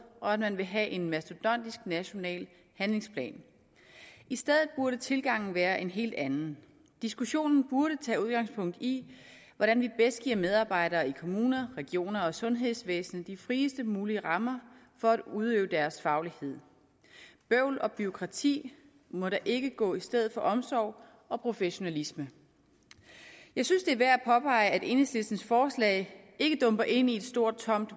og at man vil have en mastodontisk national handlingsplan i stedet burde tilgangen være en helt anden diskussionen burde tage udgangspunkt i hvordan vi bedst giver medarbejdere i kommuner regioner og sundhedsvæsen de friest mulige rammer for at udøve deres faglighed bøvl og bureaukrati må da ikke gå i stedet for omsorg og professionalisme jeg synes det er værd at påpege at enhedslistens forslag ikke dumper ind i et stort